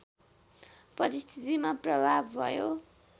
परिस्थितिमा प्रभाव भयो